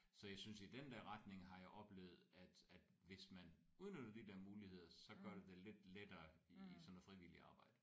Så jeg synes i den der retning har jeg oplevet at at hvis man udnytter de der muligheder så gør det det lidt lettere i sådan noget frivilligt arbejde